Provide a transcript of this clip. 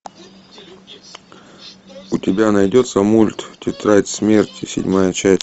у тебя найдется мульт тетрадь смерти седьмая часть